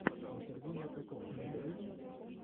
интервью закатуна у тебя есть